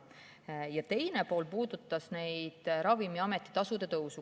Küsimuse teine pool puudutas Ravimiameti tasude tõusu.